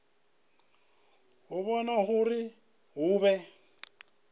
u vhona uri hu vhe